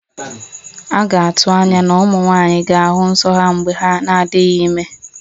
A ga-atụ anya na ụmụ nwanyị ga-ahụ nso ha mgbe ha na-adịghị ime